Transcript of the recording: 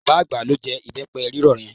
Bàbá àgbà ló jẹ ìbẹ́pẹ rírọ̀ yẹn.